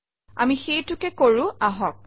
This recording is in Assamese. আমি সেইটোকে কৰোঁ আহক